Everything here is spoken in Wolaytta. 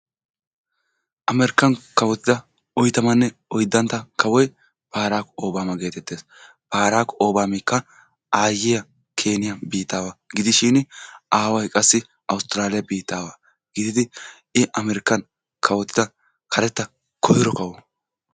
Amerikkan kawottida oyttamanne oyddantta kawoy Barakko Obama getettees. barakko Obamika aayyiya Keniya biittawa gidishin aaway qassi awustrale biittawa gididi I Amerikan kawottida karetta koyro kawo.